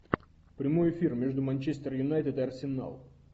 прямой эфир между манчестер юнайтед и арсенал